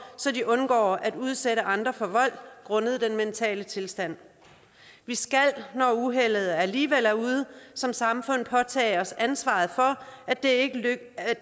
så de undgår at udsætte andre for vold grundet den mentale tilstand vi skal når uheldet alligevel er ude som samfund påtage os ansvaret for at det ikke